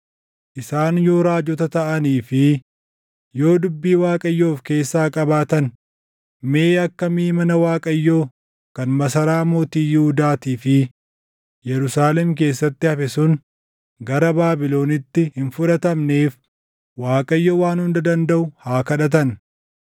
Isaan yoo raajota taʼanii fi yoo dubbii Waaqayyoo of keessaa qabaatan mee akka miʼi mana Waaqayyoo kan masaraa mootii Yihuudaatii fi Yerusaalem keessatti hafe sun gara Baabilonitti hin fudhatamneef Waaqayyo Waan Hunda Dandaʼu haa kadhatan.